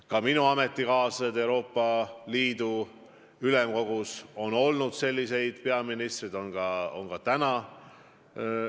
Ka minu ametikaaslaste hulgas Euroopa Ülemkogus on olnud selliseid peaministreid, on ka praegu.